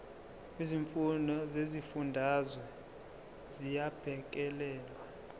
izimfuno zezifundazwe ziyabhekelelwa